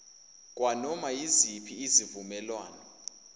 kwanoma yiziphi izivumelwano